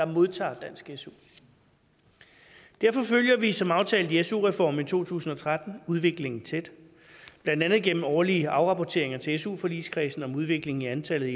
modtager dansk su derfor følger vi som aftalt i su reformen i to tusind og tretten udviklingen tæt blandt andet gennem årlige afrapporteringer til su forligskredsen om udviklingen i antallet